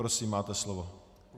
Prosím, máte slovo.